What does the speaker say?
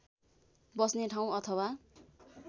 बस्ने ठाउँ अथवा